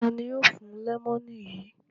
Ta ni yóò fún lẹ́mọ́nù yìí?